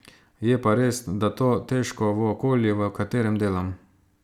Je pa res, da to težko v okolju, v katerem delam.